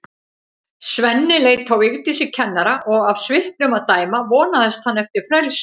Svenni leit á Vigdísi kennara og af svipnum að dæma vonaðist hann eftir frelsi.